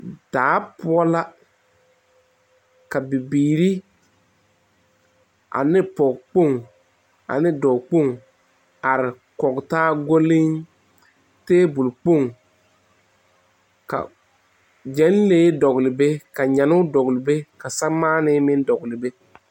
Daa poɔ la ka bibiiri ane pɔgekopŋ ane dɔɔ kpoŋ are koŋ taa gɔle tabole kpoŋ gyelee dole ka samaane dole be.